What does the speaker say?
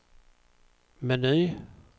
meny